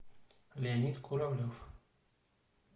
леонид куравлев